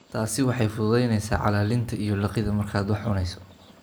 Taasi waxay fududaynaysaa calalinta iyo liqidda markaad wax cunayso.